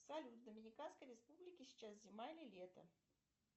салют в доминиканской республике сейчас зима или лето